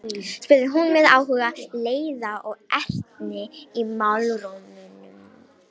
spurði hún með áhuga, leiða og ertni í málrómnum.